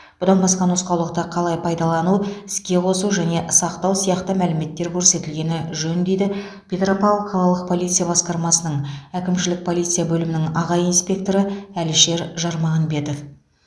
бұдан басқа нұсқаулықта қалай пайдалану іске қосу және сақтау сияқты мәліметтер көрсетілгені жөн дейді петропавл қалалық полиция басқармасының әкімшілік полиция бөлімінің аға инспекторы әлішер жармағанбетов